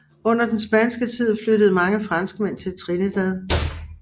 Under den spanske tid flyttede mange franskmænd til Trinidad